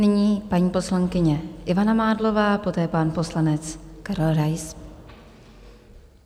Nyní paní poslankyně Ivana Mádlová, poté pan poslanec Karel Rais.